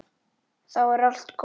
Þá er allt gott.